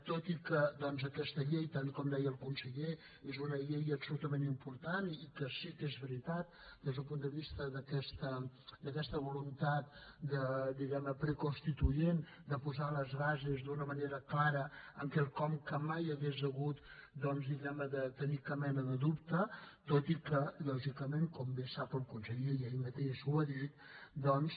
tot i que aquesta llei tal com deia el conseller és una llei absolutament important i que sí que és veritat des del punt de vista d’aquesta voluntat diguem ne preconstituent de posar les bases d’una manera clara en quelcom en què mai s’hauria hagut diguem ne de tenir cap mena de dubte tot i que lògicament com bé sap el conseller i ell mateix ho ha dit doncs